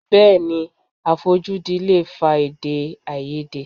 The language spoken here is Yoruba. Bẹẹni, àfojúdi lè fa edè-áiyedé.